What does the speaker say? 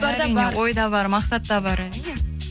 әрине ой да бар мақсат та бар әрине